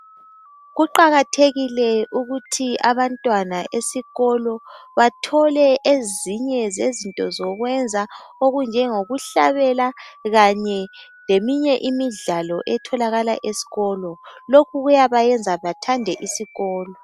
kuqakathekile ukuthi abantwana esikolo bathole ezinye zezinto zokwenza okunjengo kuhlabela kanye leminye imidlalo etholakala esikolo lokhu kuyabayenza bathande isikolo